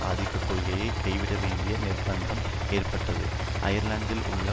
ஆதிக்கக் கொள்கையை கைவிட வேண்டிய நிர்ப்பந்தம் ஏற்பட்டது அயர்லாந்தில் உள்ள